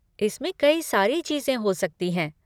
इसमें कई सारी चीज़ें हो सकती हैं।